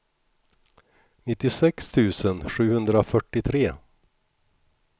nittiosex tusen sjuhundrafyrtiotre